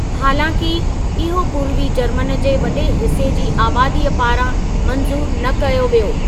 हालांकि, इहो पूर्वी जर्मन जे वॾे हिस्‍से जी आबादी पारां मंज़ूरु न कयो वियो।